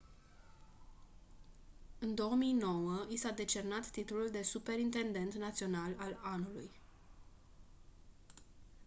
în 2009 i s-a decernat titlul de superintendent național al anului